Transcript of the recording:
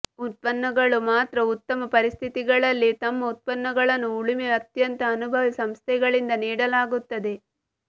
ಉತ್ಪನ್ನಗಳು ಮಾತ್ರ ಉತ್ತಮ ಪರಿಸ್ಥಿತಿಗಳಲ್ಲಿ ತಮ್ಮ ಉತ್ಪನ್ನಗಳನ್ನು ಉಳುಮೆ ಅತ್ಯಂತ ಅನುಭವಿ ಸಂಸ್ಥೆಗಳಿಂದ ನೀಡಲಾಗುತ್ತದೆ